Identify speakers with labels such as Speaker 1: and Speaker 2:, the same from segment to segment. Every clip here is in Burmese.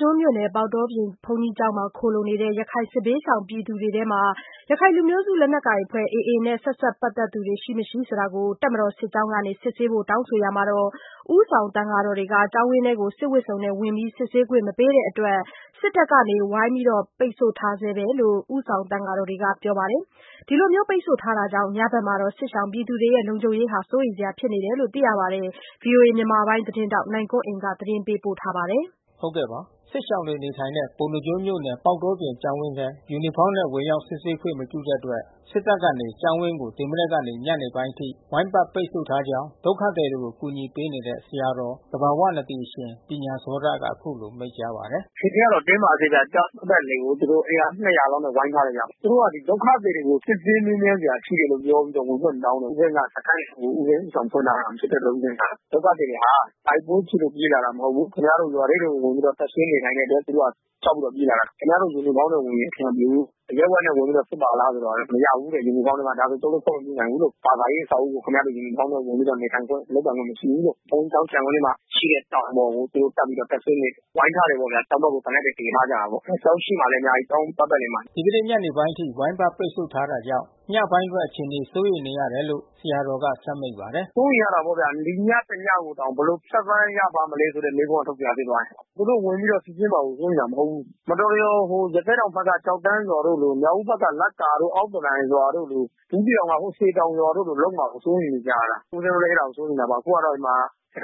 Speaker 1: ကျွန်းမြို့နယ် ပေါက်တောပြင်ဘုန်းကြီးကျောင်းမှာ ခိုလှုံနေတဲ့ ရခိုင်စစ်ဘေးရှောင် ပြည်သူတွေထဲမှာ ရခိုင်လူမျိုးစုလက်နက်ကိုင်အဖွဲ့ AA နဲ့ ဆက်စပ်ပတ်သက်သူတွေ ရှိမရှိ တပ်မတော် စစ်ကြောင်းကနေ စစ်ဆေးဖို့ တောင်းဆိုရာမှာ ဦးဆောင်သံဃာတော်တွေက စစ်ဝတ်စုံတွေနဲ့ ဝင်ပြီး စစ်ဆေးခွင့် မပေးတဲ့အတွက် စစ်တပ်ကနေ ဝိုင်းပတ် ပိတ်ဆို့ထားဆဲလို့ ဦးဆောင်သံဃာတော်တွေက ပြောပါတယ်။ ဒီလို ပိတ်ဆို့ထားတာကြောင့် ညဘက်မှာ စစ်ရှောင်တွေရဲ့လုံခြုံရေး စိုးရိမ်စရာ ဖြစ်နေတယ်လို့လည်း ပြောပါတယ်။ ဗွီအိုအေမြန်မာပိုင်း သတင်းထောက် နိုင်ကွန်းအိန်က သတင်းပေးပို့ထားပါတယ်။
Speaker 2: စစ်ရှောင်တွေနေထိုင်တဲ့ ပေါက်တောပြင်ကျောင်းဝင်းထဲ ယူနီဖေါင်းနဲ့ ဝင်ရောက် စစ်ဆေးခွင့် မပြုတဲ့အတွက် စစ်တပ်ကနေ ကျောင်းဝင်းကို မနက်ကနေ ညနေပိုင်းအထိ ဝိုင်းပတ် ပိတ်ဆို့ထားကြောင်း ဒုက္ခသည်တွေကို ကူညီပေးနေတဲ့ ဆရာတော် သဘာဝနဒီအရှင်ပညာဇောတ က အခုလို မိန့်ကြားပါတယ်
Speaker 3: ။ “အခြေအနေကတော့ တင်းမာဆဲပဲ။ ကျောင်းပတ်ပတ်လည်ကို သူတို့အင်အား ၂၀၀ လောက်နဲ့ ဝိုင်းထားတယ်ဗျ။ သူတို့က ဒီဒုက္ခသည်တွေကို စစ်ဆေးမေးမြန်းစရာရှိတယ် ပြောပြီးတော့ ဝင်ခွင့်တောင်းတယ်။ ဦးဇင်းက စခန်းကို ဦးဇင်းက ဦး ဆောင် ဖွင့်ထားတာ ဖြစ်တဲ့အတွက် ဦးဇင်းက ဒုက္ခသည်တွေဟာ တိုက်ပွဲဖြစ်လို့ ပြေးလာတာမဟုတ်ဘူး။ ခင်ဗျားတို့ ရွာထဲကို တပ်စွဲနေထိုင်တဲ့အတွက် သူတို့က ကြောက်ပြီးတော့ ပြေးလာတာ။ ခင်ဗျားတို့ ယူနီဖေါင်းနဲ့ ဝင်ရင် အဆင်မပြေဘူး။ အရပ်ဝတ်နဲ့ ဝင်ပြီးတော့ စစ်ပါလားဆို မရဘူးတဲ့။ ယူနီဖေါင်းနဲ့မှ။ ဒါဆိုကျုပ်တို့ ခွင့်မပြူနိုင်ဘူး။ ဘာသာရေး အဆောက်အဦးကို ခင်ဗျားတို့ ယူနီဖေါင်းနဲ့ နေထိုင်ခွင့်၊ လုပ်ပိုင်ခွင့် မရှိဘူးလို့။ ဘုန်းကြီးကျောင်း ခြံဝင်းထဲမှာ ရှိတဲ့ တောင်ပေါ်ကို သူတို့တက်ပြီး တပ်စွဲနေတယ်။ ဝိုင်းထားတယ်ပေါ့ဗျ။ ကျောင်းဘက်ကို သေနတ်တွေ တည်ထားကြတာပေါ့။ ကျောင်းရှေ့မှာလည်း အများကြီး ကျောင်းပတ်ပတ်လည်မှာ
Speaker 2: ။” ဒီကနေ့ ညနေအချိန်ထိ ဝိုင်းပတ် ပိတ်ဆို့ထ
Speaker 3: ားတာကြောင့် ညပိုင်းအတွက် အခြေနေ စိုးရိမ်နေရတယ်လို့ ဆရာတော်က ဆက်မိန့်ပါတယ်။ “စိုးရိမ်ရတာပေါ့ဗျာ။ ဒီညတညကိုတောင် ဘယ်လိုဖြတ်သန်းရမလဲ မေးခွန်းထုတ်စရာ ဖြစ်သွားပြီ။ သူတို့ ဝင်ပြီးတော့ စစ်ဆေးတာ စိုးရိမ်တာ မဟုတ်ဘူး။ မတော်တရော် ရသေ့တောင်ဘက်က ကျောက်တန်းရွာတို့လို၊ မြောက်ဦးဘက်က လက်ကာ အောက်သကန်ရွာတို့လို၊ ဘူးသီးတောင်က စည်တောင်ရွာတို့လို လုပ်မှာကို စိုးရိမ်နေကြရတာ။ ဦးဇင်းတို့လည်း အဲ့တာကို စိုးရိမ်တာပါ။ အခုတော့ ရခို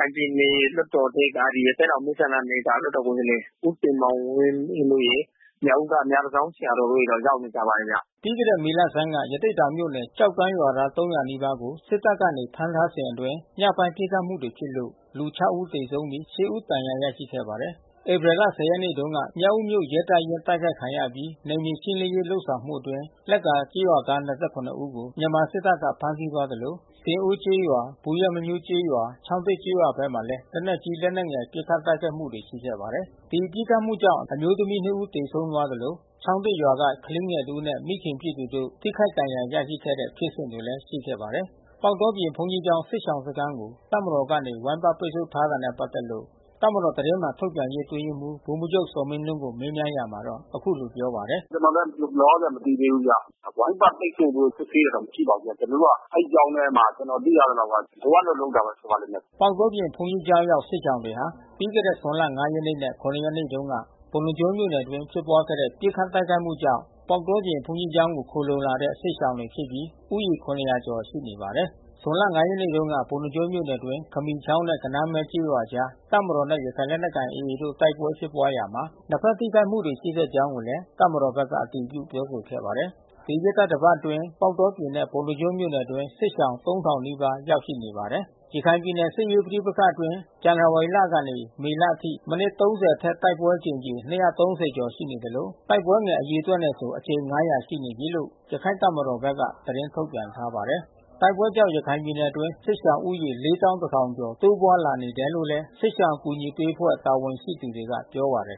Speaker 3: င်ပြည်နယ်လွှတ်တော်ထဲက ရသေ့တောင် မဲဆန္ဒနယ်က လွှတ်တော်ကိုယ်စားလှယ် ဦးတင်မောင်ဝင်းတို့ရယ်။ မြောက်ဦးက မြတန်ဆောင်းဆရာတော်တို့ ရောက်နေကြပါတယ်ဗျ။
Speaker 2: ” ပြီးခဲ့တဲ့မေလဆန်းက ကျောက်တန်းရွာ ရွာသား ၃၀၀ နီးပါးကို စစ်တပ်က ဖမ်းထားစဉ်အတွင်း ညပိုင်း ပစ်ခတ်မှုတွေဖြစ်လို့ လူ ခြောက် ဦး သေဆုံးပြီး ရှစ် ဦး ဒဏ်ရာရခဲ့ပါတယ်။ ဧပြီလ ၁၀ ရက်နေ့တုန်းက မြောက်ဦးမြို့ ရဲတပ်ရင်း တိုက်ခိုက်ခံရအပြီး နယ်မြေရှင်းလင်းရေး ဆောင်ရွက်မှုတွေအတွင်း လက္ကာကျေးရွာသား ၂၇ ဦးကို မြန်မာစစ်တပ်က ဖမ်းဆီးသွားခဲ့သလို ဆင်အိုးကျေးရွာ၊ ဘူးရွက်မညှိုးကျေးရွာ၊ ချောင်း သစ်ကျေးရွာဘက်မှာလည်း လက်နက်ကြီး၊ လက်နက်ငယ် ပစ်ခတ် တိုက်ခိုက်တာတွေ ရှိခဲ့ပါတယ်။ ဒီပစ်ခတ်မှုကြောင့် အမျိုးသမီး နှစ် ဦး သေဆုံးသွားသလို ချောင်းသစ်ရွာက ကလေးငယ်တဦးနဲ့ မိခင်ဖြစ်သူတို့ ထိခိုက်ဒဏ်ရာ ရရှိခဲ့တဲ့ ဖြစ်စဉ်တွေလည်း ရှိခဲ့ပါတယ်။ ပေါက်တောပြင် ဘုန်းကြီးကျောင်း စစ်ရှောင်စခန်းကို တပ်မတော်ကနေ ဝိုင်းပတ်ပိတ်ဆို့နေတာနဲ့ ပက်သက်လို့ တပ်မတော်သတင်းမှန်ထုတ်ပြန်ရေး အတွင်းရေးမှူး ဗိုလ်မှူးချုပ်ဇော်မင်းထွန်းကို မေးမြန်းရာမှာ အခုလိုပြောပါတယ
Speaker 3: ်။ “ကျနော်လည်း လောလောဆယ် မသိသေးဘူးဗျ။ ဝိုင်းပတ်ပိတ်ဆို့ စစ်ဆေးဖို့ မရှိပါဘူးဗျ။ ကျနော်တို့ အဲဒီကျောင်းထဲမှာ ကျနော် သိရသလောက်က လိုအပ်လို့ လုပ်တာ ဖြစ်ပါလိမ့်မယ်
Speaker 2: ။” ပေါက်တောပြင် ဘုန်းကြီးကျောင်းရောက် စစ်ရှောင်တွေဟာ ပြီးခဲ့တဲ့ ဇွန်လ ၅ ရက်နေ့နဲ့ ၇ ရက်နေ့တုန်းက ပုဏ္ဏားကျွန်းမြို့နယ်အတွင်း ဖြစ်ပွားခဲ့တဲ့ ပစ်ခတ် တိုက်ခိုက်မှုကြောင့် ပေါက်တောပြင် ဘုန်းကြီးကျောင်းကို ခိုလှုံလာတဲ့ စစ်ရှောင်တွေဖြစ်ပြီး ဦးရေ ၇၀၀ ကျော် ရှိနေပါတယ်။ ဇွန်လ ၅ ရက်နေ့တုန်းက ပုဏ္ဏားကျွန်းမြို့နယ်အတွင်း ခမီချောင်းနဲ့ ဂဏန်းမဲ ကျေး ရွာအကြား တပ်မတော်နဲ့ ရခိုင်လက်နက်ကိုင်တပ်ဖွဲ့ AA တို့ တိုက်ပွဲဖြစ်ပွားရာမှာ နှစ်ဘက်ထိခိုက်မှုတွေ ရှိခဲ့ကြောင်း တပ်မတော်ဘက်က အတည်ပြု ပြောဆိုခဲ့ပါတယ်။ ဒီရက်သီတင်းပတ်အတွင်း ပေါက်တောပြင်နဲ့ ပုဏ္ဏားကျွန်းမြို့အတွင်း စစ်ရှောင် ၃၀၀၀ နီးပါး ရောက်နေပါတယ်။ ရခိုင်ပြည်နယ် စစ်ရေးပဋိပက္ခအတွင်း ဇန်နဝါရီလကနေ မေလအထိ မိနစ် ၃၀ အထက် တိုက်ပွဲအကြိမ် ၂၃၀ ကျော်ရှိသလို တိုက်ပွဲငယ် အရေအတွက်နဲ့ဆို အကြိမ် ၅၀၀ ရှိနေပြီးလို့ ရခိုင့်တပ်မတော်ဘက်က ထုတ်ပြန်ထားပါတယ်။ တိုက်ပွဲတွေကြောင့် ရခိုင်ပြည်နယ်အတွင်း စစ်ရှောင်ဦးရေ ၄၁,၀၀၀ ကျော် တိုးပွားလာနေတယ်လို့ စစ်ရှောင်အကူညီပေးအဖွဲ့ တာဝန်ရှိသူတွေက ပြောပါတယ်